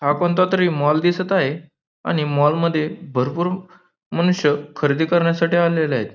हा कोणता तरी मॉल दिसत आहे आणि मॉल मध्ये भरपूर मनुष्य खरेदी करण्यासाठी आलेले आहेत.